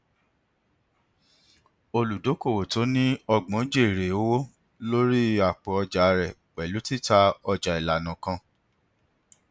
nínú mẹwàá tí ó jèrè jù mẹjọ jèrè ìdá mẹwàá pẹlú zenith fcmb transcorp nb